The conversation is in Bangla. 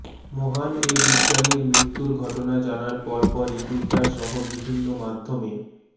মহান এ বিজ্ঞানীর মৃত্যুর ঘটনা জানার পরপরই টুইটারসহ বিভিন্ন মাধ্যমে